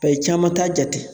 Ba ye caman t'a jate